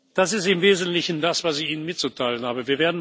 Das ist im Wesentlichen das, was ich Ihnen mitzuteilen habe.